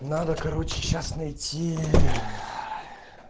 надо короче сейчас найти